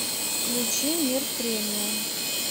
включи мир премиум